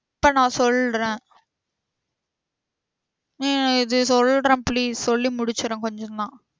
இப்போ நா சொல்றேன் உம் இது சொல்றேன் please சொல்லி முடிச்சிறேன் கொஞ்சம் தான்